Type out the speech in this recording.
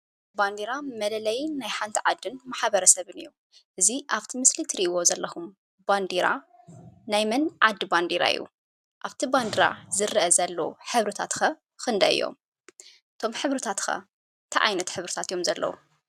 ባንዴራ መለለይ ናይ ሓንቲ ዓድን ማሕብረሰብን እዩ። እዙይ ኣብቲ ምስሊ እትርእይዎ ዘለኹም ባንዴራ ናይ መን ዓዲ ባንዴራ እዩ? ኣብቲ ባንዴራ ዝርኣ ዘሎ ሕብርታት ክንደይ እዮም? እቶም ሕብርታት ከ እንታይ ዓይነት ሕብርታት እዮም ዘለዉ?